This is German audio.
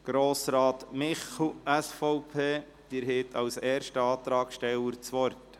Grossrat Michel, SVP, Sie haben als erster Antragsteller das Wort.